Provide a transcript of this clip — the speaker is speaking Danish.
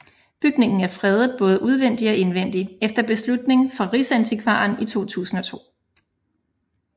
Bygningen er fredet både udvendigt og indvendigt efter beslutning fra Riksantikvaren i 2002